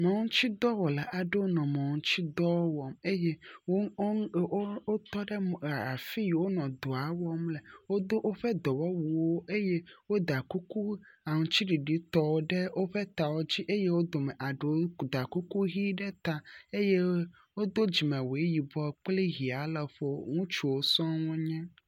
Mɔŋutsidɔwɔla aɖewo nɔ mɔ ŋutsidɔ wɔm eye wo ɔ wo wotɔ ɖe e afi yi wonɔ dɔa wɔm le. Wodo woƒe dɔwɔwuwo eye woda kuku aŋtsiɖiɖitɔ ɖe woƒe tawo di eye wo dome aɖewo da kuku ʋi ɖe ta eye wodo dzimewu yibɔ kple ʋi le ŋutsuwo sɔ wo nye.